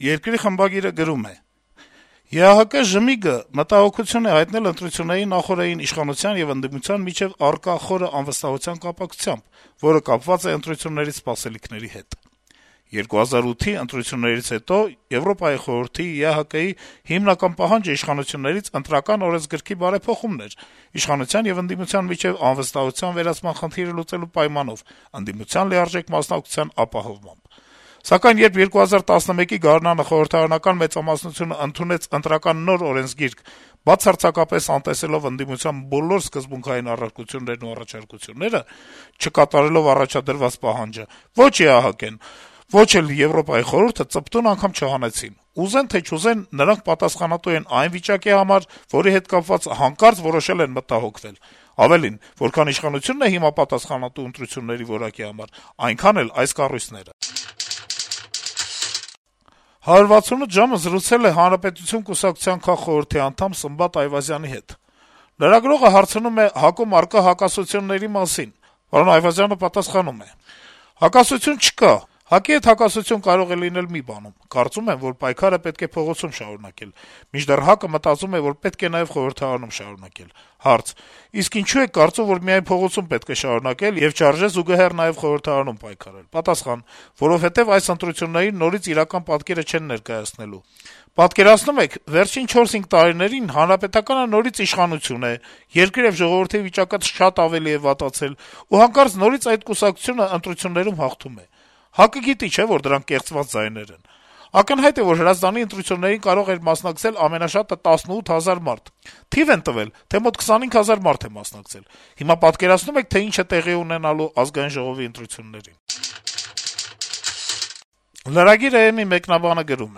թերթի խմբագիրը գրում է. - «ԵԱՀԿ/ԺՀՄԻԳ-ը մտահոգություն է հայտնել ընտրությունների նախօրեին իշխանության եւ ընդդիմության միջեւ առկա խորը անվստահության կապակցությամբ, որը կապված է ընտրություններից սպասելիքների հետ: 2008-ի ընտրություններից հետո ԵԽ-ի, ԵԱՀԿ-ի հիմնական պահանջը իշխանություններից Ընտրական օրենսգրքի բարեփոխումն էր իշխանության եւ ընդդիմության միջեւ անվստահության վերացման խնդիրը լուծելու պայմանով` ընդդիմության լիարժեք մասնակցության ապահովմամբ: Սակայն երբ 2011-ի գարնանը խորհրդարանական մեծամասնությունը ընդունեց ընտրական նոր օրենսգիրք, բացարձակապես անտեսելով ընդդիմության բոլոր սկզբունքային առարկություններն ու առաջարկությունները, չկատարելով առաջադրված պահանջը, ո'չ ԵԱՀԿ-ն եւ ո'չ էլ ԵԽ-ն ծպտուն անգամ չհանեցին: Ուզեն, թե չուզեն, նրանք պատասխանատու են այն վիճակի համար, որի հետ կապված հանկարծ որոշել են մտահոգվել: Ավելին` որքան իշխանությունն է հիմա պատասխանատու ընտրությունների որակի համար, այնքան էլ այս կառույցները»: «168 ժամ»-ը զրուցել է «Հանրապետություն» կուսակցության քաղխորհրդի անդամ Սմբատ Այվազյանի հետ: ՀԱԿ-ում առկա հակասությունների մասին հարցին Այվազյանը պատասխանում է. - «Հակասություն չկա: ՀԱԿ-ի հետ հակասություն կարող է լինել մի բանում` կարծում եմ, որ պայքարը պետք է փողոցում շարունակել: Մինչդեռ ՀԱԿ-ը մտածում է, որ պետք է նաեւ խորհրդարանում շարունակել»: Հարց. - «Իսկ ինչո՞ւ եք կարծում, որ միայն փողոցում պետք է շարունակել, եւ չարժե զուգահեռ նաեւ խորհրդարանում պայքարել»: Պատասխան. - «Որովհետեւ այս ընտրություններին նորից իրական պատկերը չեն ներկայացնելու: Պատկերացնո՞ւմ եք, վերջին չորս-հինգ տարիներին ՀՀԿ-ն նորից իշխանության է, երկրի ու ժողովրդի վիճակը շատ ավելի է վատացել, ու հանկարծ նորից այդ կուսակցությունն ընտրություններում հաղթում է: ՀԱԿ-ը գիտի, չէ՞, որ դրանք կեղծված ձայներ են: Ակնհայտ է, որ Հրազդանի ընտրություններին կարող էր մասնակցել ամենաշատը 18 հազար մարդ: Թիվ են տվել, թե մոտ 25 հազար մարդ է մասնակցել: Հիմա պատկերացնո՞ւմ եք, թե ինչ է տեղի ունենալու ԱԺ ընտրություններին»: lragir.am-ի մեկնաբանը գրում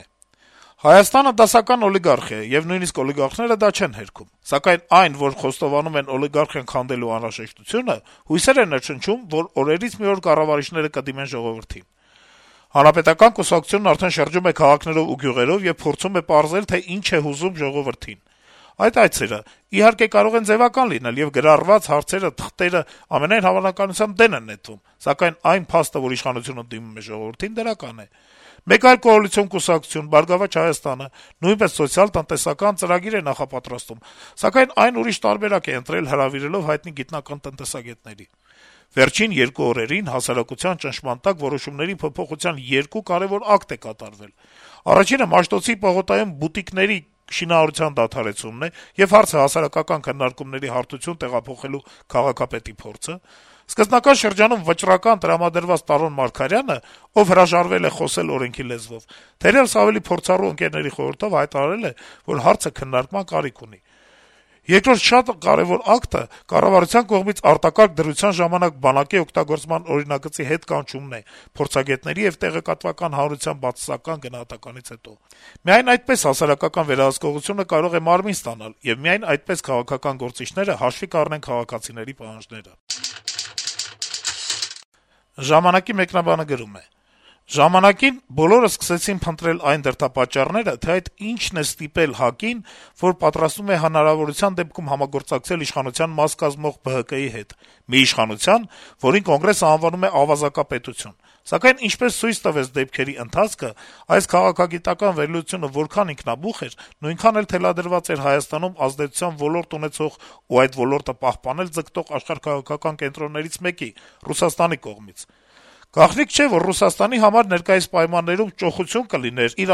է. - «Հայաստանը դասական օլիգարխիա է, եւ նույնիսկ օլիգարխները դա չեն հերքում: Սակայն այն, որ խոստովանում են օլիգարխիան քանդելու անհրաժեշտությունը, հույսեր է ներշնչում, որ օրերից մի օր կառավարիչները կդիմեն ժողովրդին: Հանրապետական կուսակցությունն արդեն շրջում է քաղաքներով ու գյուղերով եւ փորձում է պարզել, թե ինչն է հուզում ժողովրդին: Այդ այցերը, իհարկե, կարող են ձեւական լինել, եւ գրառված հարցերով թղթերը, ամենայն հավանականությամբ, դեն են նետվում, սակայն այն փաստը, որ իշխանությունը դիմում է ժողովրդին, դրական է: Մեկ այլ կոալիցիոն կուսակցություն՝ «Բարգավաճ Հայաստանը», նույնպես սոցիալ-տնտեսական ծրագիր է նախապատրաստում, սակայն այն ուրիշ տարբերակ է ընտրել՝ հրավիրելով հայտնի գիտնական-տնտեսագետների: Վերջին երկու օրերին հասարակության ճնշման տակ որոշումների փոփոխության երկու կարեւոր ակտ է կատարվել: Առաջինը Մաշտոցի պուրակում բուտիկների շինարարության դադարեցումն է եւ հարցը հասարակական քննարկումների հարթություն տեղափոխելու քաղաքապետի փորձը: Սկզբնական շրջանում վճռական տրամադրված Տարոն Մարգարյանը, ով հրաժարվել է խոսել օրենքի լեզվով, թերեւս, ավելի փորձառու ընկերների «խորհրդով» հայտարարել է, որ հարցը քննարկման կարիք ունի: Երկրորդ շատ կարեւոր ակտը կառավարության կողմից արտակարգ դրության ժամանակ բանակի օգտագործման օրինագծի հետկանչումն է փորձագետների եւ տեղեկատվական հանրության բացասական գնահատականից հետո: Միայն այդպես հասարակական վերահսկողությունը կարող է մարմին ստանալ, եւ միայն այդպես քաղաքական գործիչները հաշվի կառնեն քաղաքացիական պահանջները»: «Ժամանակ»-ի մեկնաբանը գրում է. - «Ժամանակին բոլորը սկսեցին փնտրել այն դրդապատճառները, թե այդ ինչն է ստիպել ՀԱԿ-ին, որ պատրաստվում է հնարավորության դեպքում համագործակցել իշխանության մաս կազմող ԲՀԿ-ի հետ, մի իշխանության, որին Կոնգրեսը անվանում է «ավազակապետություն»: Սակայն, ինչպես ցույց տվեց դեպքերի ընթացքը, այս քաղաքագիտական վերլուծությունը որքան ինքնաբուխ էր, նույնքան էլ թելադրված էր Հայաստանում ազդեցության ոլորտ ունեցող ու այդ ոլորտը պահպանել ձգտող աշխարհաքաղաքական կենտրոններից մեկի` Ռուսաստանի կողմից: Գաղտնիք չէ, որ Ռուսաստանի համար ներկայիս պայմաններում ճոխություն կլիներ իր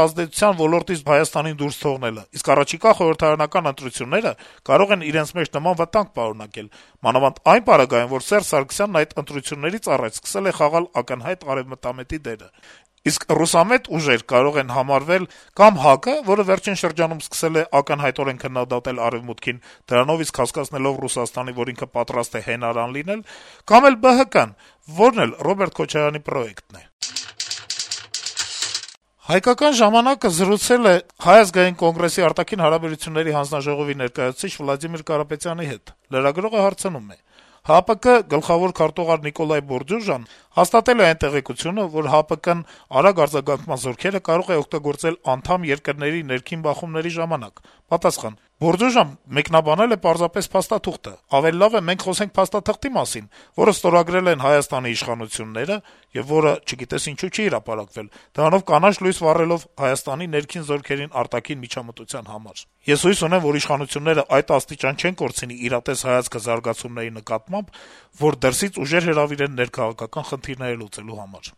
ազդեցության ոլորտից Հայաստանին դուրս թողնելը: Իսկ առաջիկա խորհրդարանական ընտրությունները կարող են իրենց մեջ նման վտանգ պարունակել, մանավանդ այն պարագայում, որ Սերժ Սարգսյանն այդ ընտրություններից առաջ սկսել է խաղալ ակնհայտ արեւմտամետի դեր: Իսկ ռուսամետ ուժեր կարող են համարվել կա'մ ՀԱԿ-ը, որը վերջին շրջանում սկսել է ակնհայտորեն քննադատել Արեւմուտքին` դրանով իսկ հասկացնելով Ռուսաստանին, որ ինքը պատրաստ է հենարան լինել, կա'մ էլ ԲՀԿ-ն, որն էլ Ռոբերտ Քոչարյանի «պրոեկտն» է»: «Հայկական ժամանակ»-ը զրուցել է ՀԱԿ-ի արտաքին հարաբերությունների հանձնաժողովի ներկայացուցիչ Վլադիմիր Կարապետյանի հետ: Լրագրողը հարցնում է. - «ՀԱՊԿ գլխավոր քարտուղար Նիկոլայ Բորդյուժան հաստատել է այն տեղեկությունները, որ ՀԱՊԿ-ն արագ արձագանքման զորքերը կարող է օգտագործել անդամ երկրների ներքին բախումների ժամանակ: Սա ինչպե՞ս եք գնահատում»: Պատասխան. - «Բորդյուժան մեկնաբանել է պարզապես փաստաթուղթը: Ավելի լավ է մենք խոսենք փաստաթղթի մասին, որը ստորագրել են Հայաստանի իշխանությունները (որը չգիտես ինչու չի հրապարակվել)` դրանով կանաչ լույս վառելով Հայաստանի ներքին գործերին արտաքին միջամտության համար: Ես հույս ունեմ, որ իշխանությունները այդ աստիճան չեն կորցնի իրատես հայացքը զարգացումների նկատմամբ, որ դրսից ուժեր հրավիրեն ներքաղաքական խնդիրները լուծելու համար»: